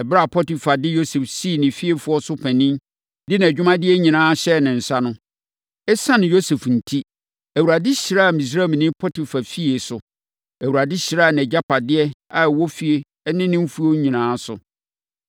Ɛberɛ a Potifar de Yosef sii ne fiefoɔ so panin, de nʼadwumadeɛ nyinaa hyɛɛ ne nsa no, ɛsiane Yosef enti, Awurade hyiraa Misraimni Potifar fie so. Awurade hyiraa nʼagyapadeɛ a ɛwɔ fie ne ne mfuo nyinaa so.